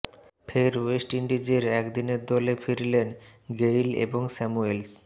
ফের ওয়েস্ট ইন্ডিজের একদিনের দলে ফিরলেন গেইল এবং স্যামুয়েলস